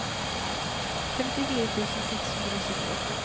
femtifire tusen seks hundre og syttiåtte